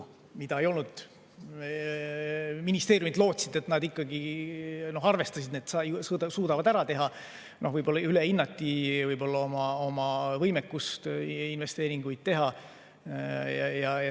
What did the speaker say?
Ministeeriumid lootsid, arvestasid, et nad ikkagi suudavad ära teha, aga võib-olla ülehinnati oma võimekust investeeringuid teha.